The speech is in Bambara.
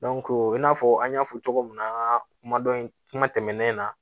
i n'a fɔ an y'a fɔ cogo min na an ka kuma dɔn in kuma tɛmɛnen na